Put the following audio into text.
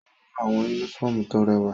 O ran awọn unifọmú to rẹwa.